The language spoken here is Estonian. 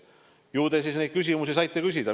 Ju te saite neid küsimusi küsida.